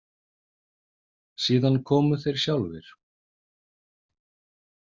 Síðan komu þeir sjálfir.